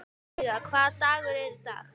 Veiga, hvaða dagur er í dag?